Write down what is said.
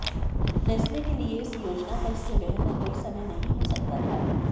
Nestle के लिए इस योजना का इससे बेहतर कोई समय नहीं हो सकता था